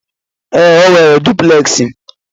Ee, o nwere dupleksi.